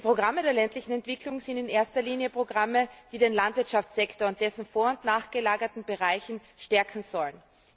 Die Programme der ländlichen Entwicklung sind in erster Linie Programme, die den Landwirtschaftssektor und dessen vor und nachgelagerte Bereiche stärken sollen.